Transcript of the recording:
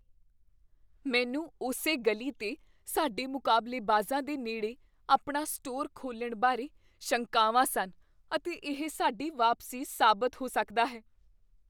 ਮੈਨੂੰ ਉਸੇ ਗਲੀ 'ਤੇ ਸਾਡੇ ਮੁਕਾਬਲੇਬਾਜ਼ਾਂ ਦੇ ਨੇੜੇ ਆਪਣਾ ਸਟੋਰ ਖੋਲ੍ਹਣ ਬਾਰੇ ਸ਼ੰਕਾਵਾਂ ਸਨ ਅਤੇ ਇਹ ਸਾਡੀ ਵਾਪਸੀ ਸਾਬਤ ਹੋ ਸਕਦਾ ਹੈ।